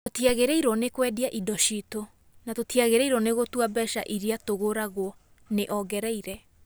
"Tũtiagĩrĩirwo nĩ kwendia indo citũ, na tũtiagĩrĩirwo nĩ gũtua mbeca iria tũgũragwo", nĩ ongereire.